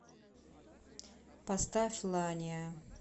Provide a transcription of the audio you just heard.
поставь ланиа